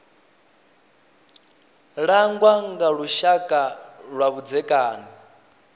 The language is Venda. langwa nga lushaka lwa vhudzekani